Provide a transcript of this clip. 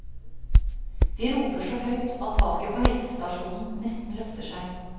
De roper så høyt at taket på helsestasjonen nesten løfter seg.